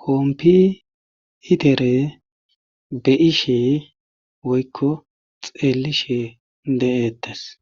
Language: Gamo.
kompi itere be ishe woykko xeelishe de7ettes.